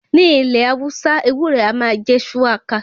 Ní ilẹ̀ Hausa, ewúro a máa jẹ́ ṣúwákà.